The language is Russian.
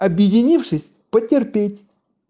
объединившись потерпеть